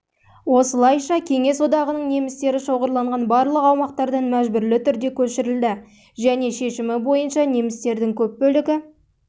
осылайша кеңес одағының немістері шоғырланған барлық аумақтардан мәжбүрлі түрде көшірілді және шешімі бойынша немістердің көп бөлігі